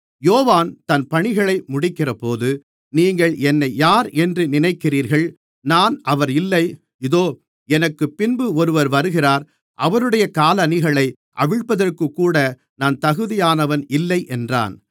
யோவான் தன் பணிகளை முடிக்கிறபோது நீங்கள் என்னை யார் என்று நினைக்கிறீர்கள் நான் அவர் இல்லை இதோ எனக்குப்பின்பு ஒருவர் வருகிறார் அவருடைய காலணிகளை அவிழ்ப்பதற்குக்கூட நான் தகுதியானவன் இல்லை என்றான்